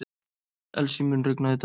Elsie, mun rigna í dag?